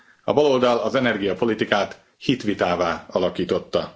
A baloldal az energiapolitikát hitvitává alakította.